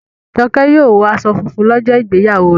Joke yíò wò aṣọ fúnfún lójó ìgbéyàwó rẹ.